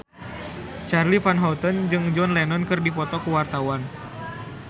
Charly Van Houten jeung John Lennon keur dipoto ku wartawan